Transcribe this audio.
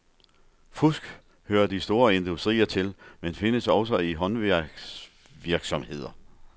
Fusk hører de store industrier til, men findes også i håndværksvirksomheder.